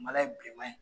Mala ye bilenman ye